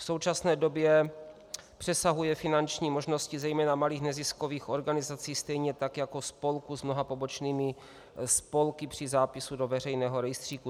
V současné době přesahuje finanční možnosti zejména malých neziskových organizací, stejně tak jako spolků s mnoha pobočnými spolky při zápisu do veřejného rejstříku.